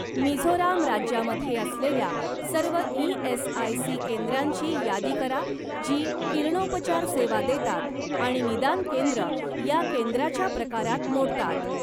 मिझोराम राज्यामध्ये असलेल्या सर्व ई.एस.आय.सी. केंद्रांची यादी करा जी किरणोपचार सेवा देतात आणि निदान केंद्र या केंद्राच्या प्रकारात मोडतात.